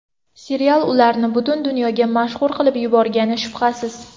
Serial ularni butun dunyoga mashhur qilib yuborgani shubhasiz.